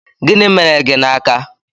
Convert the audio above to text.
Gịnị mere gị n'aka?